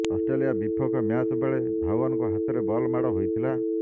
Australia ବିପକ୍ଷ match ବେଳେ ଧୱନଙ୍କ ହାତରେ ବଲ ମାଡ଼ ହୋଇଥିଲା